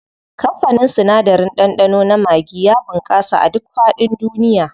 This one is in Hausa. Kamfanin sinadarin ɗanɗano na maggi ya bunƙasa a duk faɗin duniya.